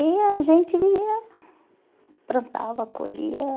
E a gente ia plantava, colhia.